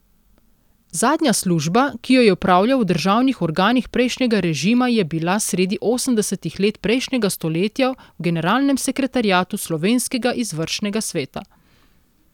Zadnja služba, ki jo je opravljal v državnih organih prejšnjega režima, je bila sredi osemdesetih let prejšnjega stoletja v generalnem sekretariatu slovenskega izvršnega sveta.